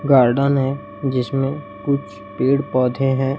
Garden है जिसमें कुछ पेड़ पौधे हैं।